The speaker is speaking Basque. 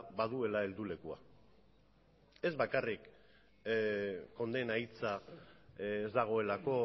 baduela heldulekua ez bakarrik kondena hitza ez dagoelako